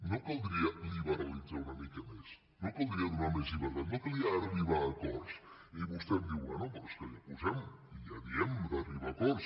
no caldria liberalitzar una mica més no caldria donar més llibertat no caldria arribar a acords i vostè em diu bé però és que ja ho posem ja diem d’arribar a acords